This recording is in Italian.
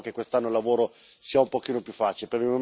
Speriamo che quest'anno il lavoro sia un pochino più facile.